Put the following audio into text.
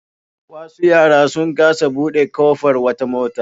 Wasu yara sun kasa buɗe ƙofar wata mota.